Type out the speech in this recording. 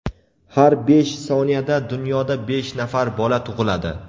Har besh soniyada dunyoda besh nafar bola tug‘iladi.